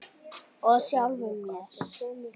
Og sjálfum mér.